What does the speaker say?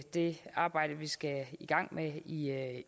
det arbejde vi skal i gang med i